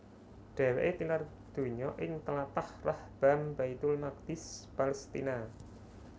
Dheweke tilar donya ing tlatah Rahbaam Baitul Maqdis Palestina